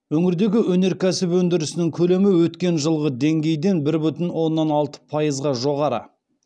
өңірдегі өнеркәсіп өндірісінің көлемі өткен жылғы деңгейден бір бүтін оннан алты пайызға жоғары